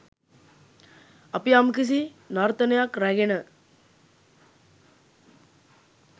අපි යම්කිසි නර්තනයක් රැගෙන